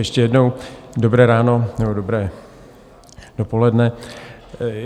Ještě jednou dobré ráno, nebo dobré dopoledne.